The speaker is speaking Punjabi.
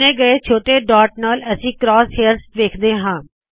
ਚੁਣੇ ਹੋਏ ਛੋਟੇ ਡਾੱਟ ਨਾਲ ਅਸੀ ਕਰਾਸ ਹੇਯਰਜ਼ ਵੇਖਦੇ ਹਾ